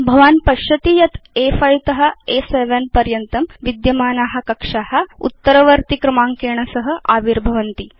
भवान् पश्यति यत् अ5 त अ7 पर्यन्तं विद्यमाना कक्षा उत्तरवर्तिक्रमाङ्केण सह आविर्भवन्ति